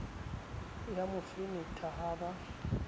ya mo fenetha ha ba